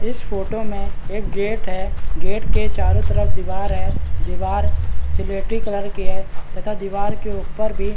इस फोटो में एक गेट है | गेट के चारो तरफ दीवार है दीवार स्लेटी कलर की है तथा दिवार के ऊपर भी --